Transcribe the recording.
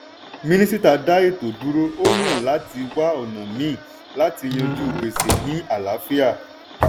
minisita dá ètò dúró ó yàn láti wá ọ̀nà míì láti yanjú gbèsè ní àlàáfíà.